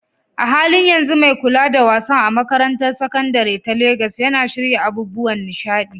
A halin yanzu, mai kula da wasan a makarantar sakandare ta Legas yana shirya abubuwan nishaɗi.